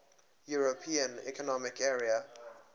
european economic area